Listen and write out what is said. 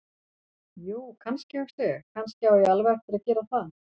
Jú, kannski, hugsa ég: Kannski á ég alveg eftir að gera það.